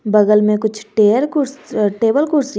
बगल में कुछ टेर कुर्स टेबल कुर्सी है।